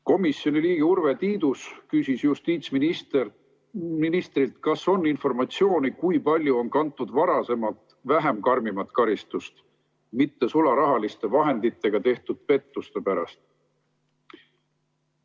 Komisjoni liige Urve Tiidus küsis justiitsministrilt, kas on informatsiooni, kui palju on varem kantud vähem karmi karistust mittesularahaliste vahenditega tehtud pettuste pärast.